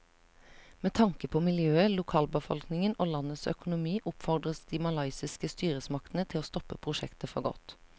Med tanke på miljøet, lokalbefolkningen og landets økonomi oppfordres de malaysiske styresmaktene til å stoppe prosjektet for godt.